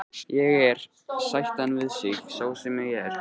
Ég er, sætti hann sig við, sá sem ég er.